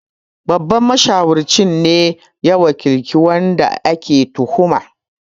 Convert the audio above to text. Babban mashawarci ne ya wakilci wanda ake tuhumar